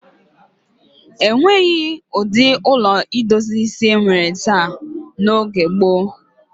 E nweghi ụdị ụlọ ndozi isi e nwere taa n'oge gboo.